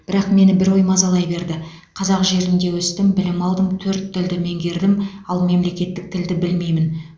бірақ мені бір ой мазалай берді қазақ жерінде өстім білім алдым төрт тілді меңгердім ал мемлекеттік тілді білмеймін